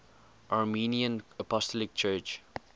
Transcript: armenian apostolic church